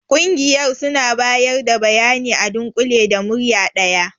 Ƙungiyar suna bayar da bayani a dunkule da murya daya.